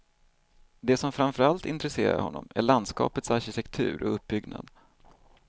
Det som framför allt intresserar honom är landskapets arkitektur och uppbyggnad.